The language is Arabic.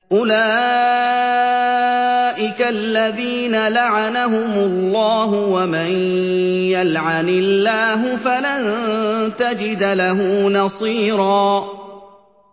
أُولَٰئِكَ الَّذِينَ لَعَنَهُمُ اللَّهُ ۖ وَمَن يَلْعَنِ اللَّهُ فَلَن تَجِدَ لَهُ نَصِيرًا